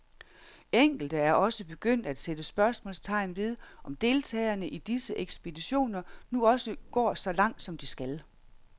Enkelte er også begyndt at sætte spørgsmålstegn ved, om deltagerne i disse ekspeditioner nu også går så langt, som de skal.